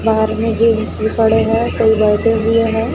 बाहर में पड़े हैं कई बैठे हुए हैं।